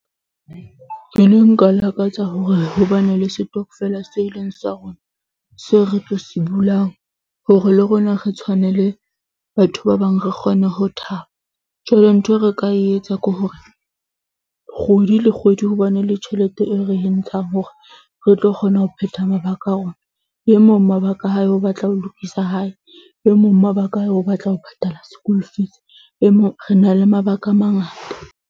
Ke ne nka lakatsa hore ho ba na le setokofele se eleng sa rona. Seo re tlo se bulang hore le rona re tshwane le batho ba bang. Re kgone ho thaba, jwale nthwe re ka e etsa, ke hore kgwedi le kgwedi ho ba na le tjhelete eo re entshang hore re tlo kgona ho phetha mabaka a rona. E mong mabaka a hae o batla ho lokisa hae e mong mabaka a hae o batla ho patala school fees. E mong, re na le mabaka a mangata.